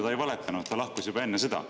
Ta ei valetanud, sest ta lahkus juba enne sõda.